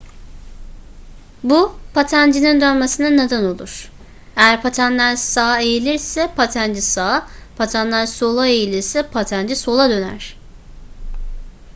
bu patencinin dönmesine neden olur eğer patenler sağ eğilirse patenci sağa patenler sola eğilirse patenci sola döner